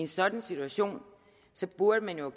sådan situation burde man jo